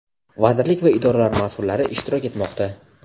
vazirlik va idoralar masʼullari ishtirok etmoqda.